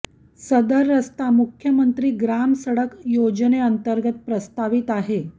सदर रस्ता मुख्यमंत्री ग्राम सडक योजनेंतर्गत प्रस्तावित आहे